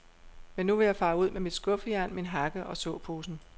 Men nu vil jeg fare ud med mit skuffejern, min hakke og såposen.